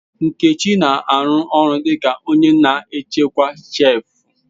Nkechi na-arụ ọrụ dị ka onye na-echekwa shelf.